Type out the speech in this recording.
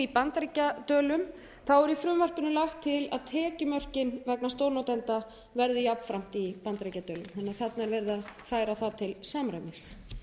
bandaríkjadölum er í frumvarpinu lagt til að tekjumörkin vegna stórnotenda verði jafnframt í bandaríkjadölum þannig að þarna er verið að færa það til samræmis